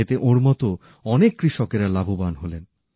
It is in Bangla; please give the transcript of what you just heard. এতে ওঁর মত অনেক কৃষকেরা লাভবান হলেন